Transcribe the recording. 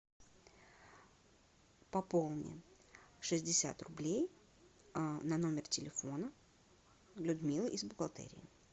пополни шестьдесят рублей на номер телефона людмилы из бухгалтерии